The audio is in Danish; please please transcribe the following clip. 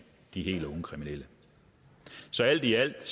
helt unge kriminelle så alt i alt